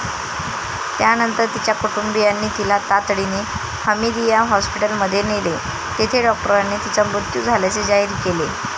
त्यानंतर तिच्या कुटुंबियांनी तिला तातडीने हमीदिया हॉस्पिटलमध्ये नेले, तेथे डॉक्टरांनी तिचा मृत्यू झाल्याचे जाहीर केले.